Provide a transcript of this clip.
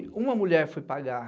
E uma mulher foi pagar